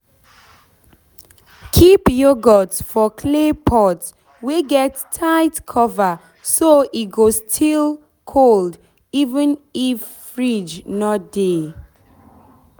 keep yoghurt for clay pot wey get tight cover so e go still cold even if fridge no dey.